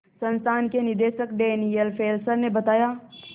संस्थान के निदेशक डैनियल फेस्लर ने बताया